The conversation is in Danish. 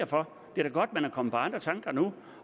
for det er da godt at man er kommet på andre tanker nu